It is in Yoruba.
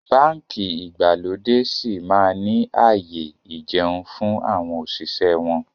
Báńkì ìgbàlódé síí máa ni ààyè ìjẹun fún àwọn òṣìṣẹ́ wọn